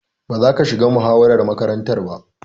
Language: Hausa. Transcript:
Ba za ka shiga muhawarar makaranta ba.